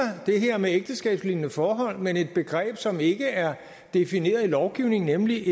det her med ægteskabslignende forhold men det begreb som ikke er defineret i lovgivningen nemlig